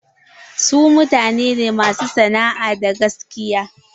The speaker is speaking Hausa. Su mutane ne masu sana'a da gaskiya.